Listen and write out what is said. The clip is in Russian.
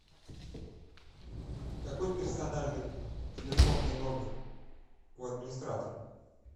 какой персональный телефонный номер у администратора